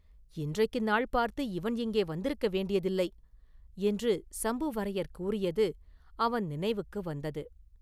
“இன்றைக்கு நாள் பார்த்து இவன் இங்கே வந்திருக்க வேண்டியதில்லை!” என்று சம்புவரையர் கூறியது அவன் நினைவுக்கு வந்தது.